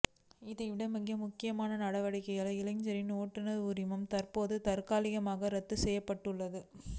இதைவிட மிக முக்கியமான நடவடிக்கையாக இளைஞரின் ஓட்டுநர் உரிமம் தற்போது தற்காலிகமாக ரத்து செய்யப்பட்டுள்ளது